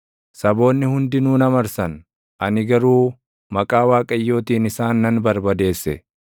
Saboonni hundinuu na marsan; ani garuu maqaa Waaqayyootiin isaan nan barbadeesse.